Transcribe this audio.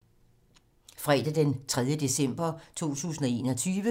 Fredag d. 3. december 2021